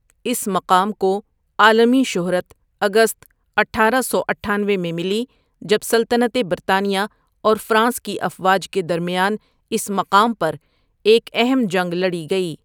اس مقام کو عالمی شہرت اگست اٹھارہ سو اٹھانوی میں ملی جب سلطنت برطانیہ اور فرانس کی افواج کے درمیان اس مقام پر ایک اہم جنگ لڑی گئی ۔